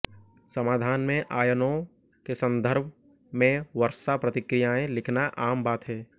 समाधान में आयनों के संदर्भ में वर्षा प्रतिक्रियाएं लिखना आम बात है